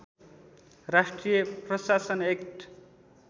राष्ट्रिय प्रशासन एक्ट